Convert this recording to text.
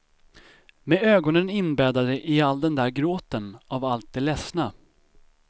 Med ögonen inbäddade i all den där gråten av allt det ledsna.